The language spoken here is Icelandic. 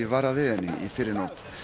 varað við henni í fyrrinótt